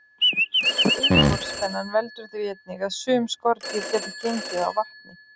Yfirborðsspennan veldur því einnig að sum skordýr geta gengið á vatni.